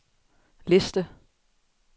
liste